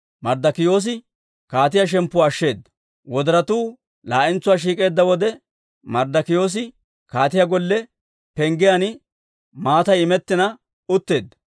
Wodoratuu laa"entsuwaa shiik'eedda wode Marddokiyoosi kaatiyaa golle penggiyaan matay immetina utteedda.